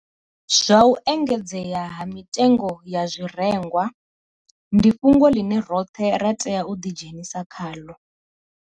Zwa u engedzea ha mitengo ya zwirengwa ndi fhungo ḽine roṱhe ra tea u ḓidzhenisa khaḽo.